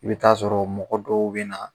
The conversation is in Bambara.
I bɛ t'a sɔrɔ mɔgɔ dɔw bɛ na